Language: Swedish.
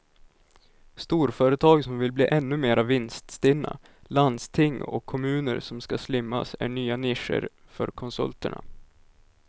Storföretag som vill bli ännu mer vinststinna, landsting och kommuner som ska slimmas är nya nischer för konsulterna.